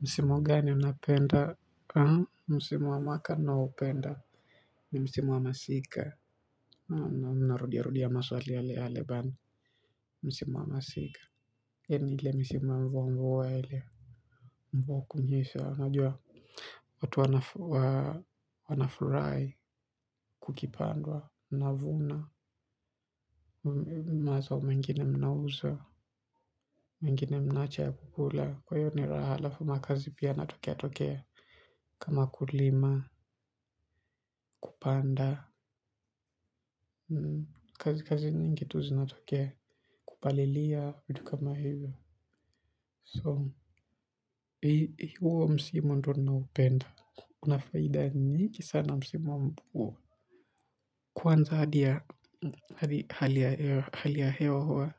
Msimo gani unapenda. Msimo wa mwaka naupenda. Ni msimo wa masika. Naam narudia rudia maswali yale yale. Msimu wa masika hii ni ile misimu wa mvua mvua ile mvua kunenyesha unajua. Watu wanafurahi kukipandwa mnavuna mazao mengine mnauza mengine mnaacha ya kukula kwa hivyo ni raha alafu makazi pia yanatokea tokea. Kama kulima, kupanda kazi kazi nyingi tu zinatokea. Kupalilia vitu kama hivyo so, huo msimu ndio naupenda. Una faida nyingi sana msimu wa mmvua. Kwanza hali ya hewa huwa